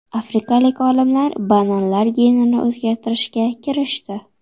Afrikalik olimlar bananlar genini o‘zgartirishga kirishdi.